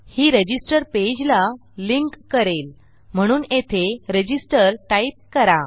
ही register पेजला link करेल म्हणून येथे रजिस्टर टाईप करा